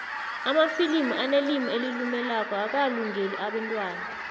amafilimu anelimu elilumelako akalungeli abentwana